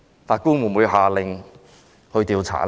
法官會否下令作出調查呢？